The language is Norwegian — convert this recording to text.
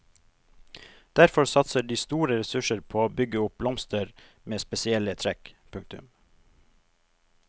Derfor satser de store ressurser på å bygge opp blomster med spesielle trekk. punktum